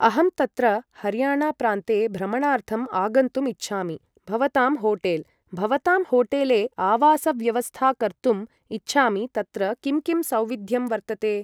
अहं तत्र हर्याणा प्रान्ते भ्रमणार्थम् आगन्तुम् इच्छामि भवतां होटेल् भवतां होटेले आवासव्यवस्था कर्तुम् इच्छामि तत्र किं किं सौविध्यं वर्तते